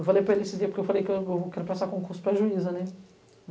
Eu falei para ele esse dia, porque eu falei que eu vou, quero prestar concurso para juíza, né?